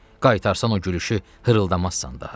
Qaytarsan o gülüşü hırıldamazsan daha.